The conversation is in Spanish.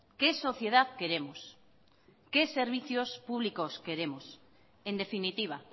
qué sociedad queremos qué servicios públicos queremos en definitiva